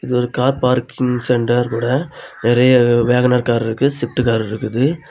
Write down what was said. இது ஒரு car parking centre ஓட நெறைய வேகனர் கார் இருக்கு ஸ்விஃப்ட் கார் இருக்குது.